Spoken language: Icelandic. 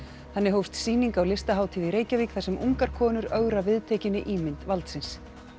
þannig hófst sýning á Listahátíð í Reykjavík þar sem ungar konur ögra viðtekinni ímynd valdsins